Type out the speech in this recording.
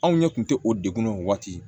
Anw ɲɛ kun te o dekun ye o waati